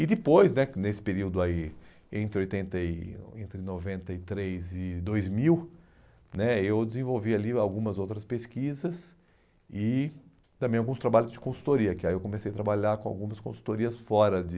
E depois né, que nesse período aí, entre oitenta e, entre noventa e três e dois mil né, eu desenvolvi ali algumas outras pesquisas e também alguns trabalhos de consultoria, que aí eu comecei a trabalhar com algumas consultorias fora de...